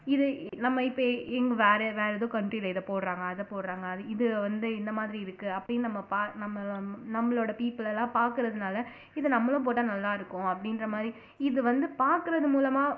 இது நம்ம இப்ப இங் இங்க வேற வேற ஏதோ country ல இதை போடுறாங்க அதை போடுறாங்க இது வந்து இந்த மாதிரி இருக்கு அப்படின்னு ப நம்ம நம்மளோட people எல்லாம் பார்க்கிறதுனால இது நம்மளும் போட்டா நல்லா இருக்கும் அப்படின்ற மாதிரி இது வந்து பாக்குறது மூலமா